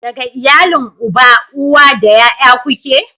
Daga iyalin uba, uwa da ƴaƴa ku ke?